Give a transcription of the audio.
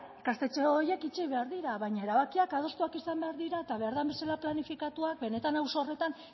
ikastetxe horiek itxi behar dira baina erabakiak adostuak izan behar dira eta behar den bezala planifikatuak benetan auzo horretan